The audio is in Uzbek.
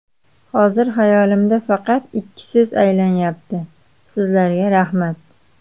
Hozir xayolimda faqat ikki so‘z aylanyapti: sizlarga rahmat.